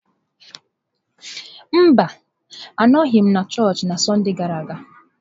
Mba, anọghị m na chọọchị na Sọnde gara aga.